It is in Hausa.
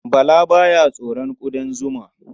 Bala ba ya tsoron ƙudan zuma.